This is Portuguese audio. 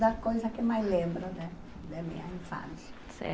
da coisa que mais lembro da da minha infância.